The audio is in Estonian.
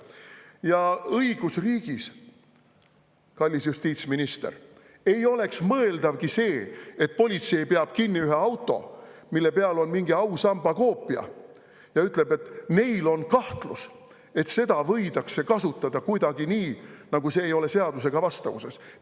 Ja õigusriigis, kallis justiitsminister, ei oleks mõeldavgi see, et politsei peab kinni ühe auto, mille peal on mingi ausamba koopia, ja ütleb, et neil on kahtlus, et seda võidakse kasutada kuidagi nii, nagu ei ole seadusega vastavuses.